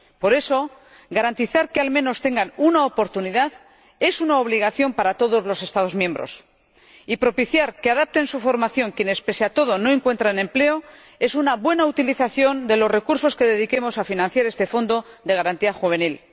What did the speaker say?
Por eso, garantizar que al menos tengan una oportunidad es una obligación para todos los Estados miembros y propiciar que adapten su formación quienes, pese a todo, no encuentran empleo es una buena utilización de los recursos que dediquemos a financiar este fondo de garantía juvenil.